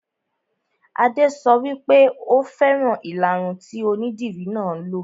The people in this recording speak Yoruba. Adé sọ wípé "Ò fẹ́ràn ìlaru tí onídìri náà lo '.